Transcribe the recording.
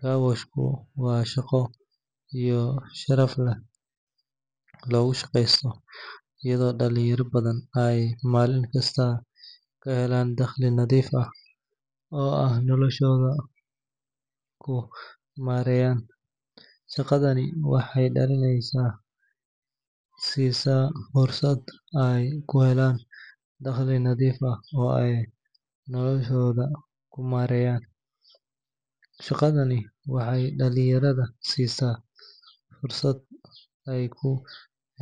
Carwash-ku waa shaqo si sharaf leh loogu shaqeysto, iyadoo dhalinyaro badan ay maalin kasta ka helaan dakhli nadiif ah oo ay noloshooda ku maareeyaan. Shaqadani waxay dhalinyarada siisaa fursad ay ku